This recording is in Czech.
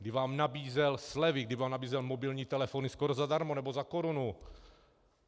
Kdy vám nabízel slevy, kdy vám nabízel mobilní telefony skoro zadarmo nebo za korunu.